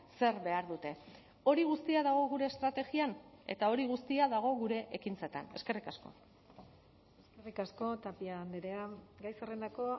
zer behar dute hori guztia dago gure estrategian eta hori guztia dago gure ekintzetan eskerrik asko eskerrik asko tapia andrea gai zerrendako